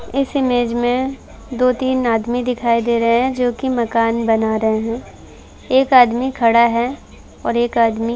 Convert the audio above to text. इस इमेज मे दो तीन आदमी दिखाई दे रहे हैं जोकि मकान बना रहे हैं। एक आदमी खड़ा है और एक आदमी --